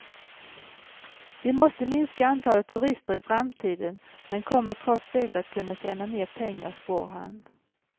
Vi måste minska antalet turister i framtiden men kommer trots det att kunna tjäna mer pengar, spår han.